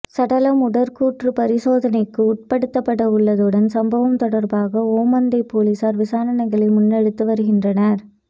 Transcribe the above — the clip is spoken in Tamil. சடலம் உடற்கூற்று பரிசோதனைக்கு உட்படுத்தப்படவுள்ளதுடன் சம்பவம் தொடர்பாக ஓமந்தை பொலிசார் விசாரணைகளை முன்னெடுத்து வருகின்றனர்